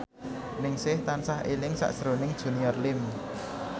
Ningsih tansah eling sakjroning Junior Liem